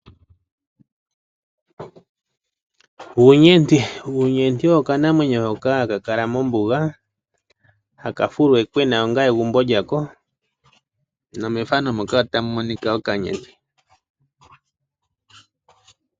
Uunyenti, uunyenti owo okanamwenyo hoka haka kala mombuga hakafuluokwena onga egumbo lyako nomethano mokaotamu monika okanyenti.